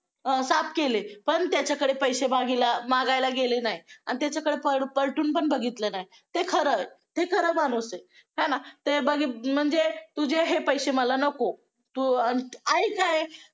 साफ केले पण त्याच्याकडे पैसे मागेला मागायला गेले नाही आणि त्याच्याकडे पलटून पण बघितलं नाही. हे खरं हे खरं माणूस आहे. आहे ना म्हणजे तुझे हे पैसे मला नको तू आईच आहे.